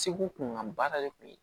Segu kunkan baara de tun ye